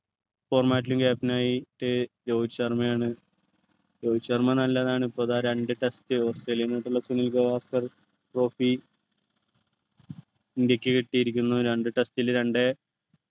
former captain ആയിട്ട് ഏർ രോഹിത് ശർമയാണ് രോഹിത് ശർമ നല്ലതാണ് ഇപ്പോൾ ധാ രണ്ട് test ഓസ്ട്രേലിയ ആയിട്ടുള്ള സുനിൽ ഗവാസ്കർ trophy ഇന്ത്യയ്ക്ക് കിട്ടിരിക്കുന്നു രണ്ട് test ലു രണ്ട്